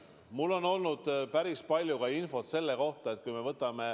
Mul on päris palju infot selle kohta.